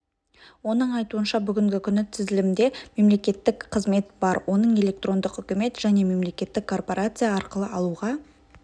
оның айтуынша бүгінгі күні тізілімде мемлекеттік қызмет бар оның электрондық үкімет және мемлекеттік корпорация арқылы алуға